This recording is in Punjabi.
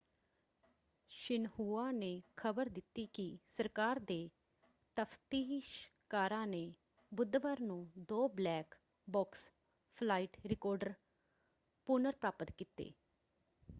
ਸ਼ਿਨਹੁਆ ਨੇ ਖ਼ਬਰ ਦਿੱਤੀ ਕਿ ਸਰਕਾਰ ਦੇ ਤਫ਼ਤੀਸ਼ਕਾਰਾਂ ਨੇ ਬੁੱਧਵਾਰ ਨੂੰ ਦੋ ‘ਬਲੈਕ ਬਾਕਸ’ ਫਲਾਈਟ ਰਿਕਾਰਡਰ ਪੁਨਰ-ਪ੍ਰਾਪਤ ਕੀਤੇ।